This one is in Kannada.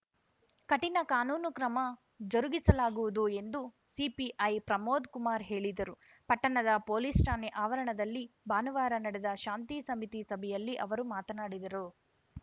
ಕಠಿಣ ಕಾನೂನು ಕ್ರಮ ಜರುಗಿಸಲಾಗುವುದು ಎಂದು ಸಿಪಿಐ ಪ್ರಮೋದ್‌ಕುಮಾರ್‌ ಹೇಳಿದರು ಪಟ್ಟಣದ ಪೊಲೀಸ್‌ ಠಾಣೆ ಆವರಣದಲ್ಲಿ ಭಾನುವಾರ ನಡೆದ ಶಾಂತಿ ಸಮಿತಿ ಸಭೆಯಲ್ಲಿ ಅವರು ಮಾತನಾಡಿದರು